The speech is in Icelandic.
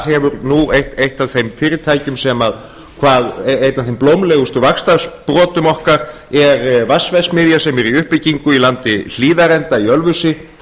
hefur nú eitt af fyrirtækjum eitt af þeim blómlegustu vaxtarsprotum okkar er vatnsverksmiðja sem er í uppbyggingu í landi hlíðarenda í ölfusi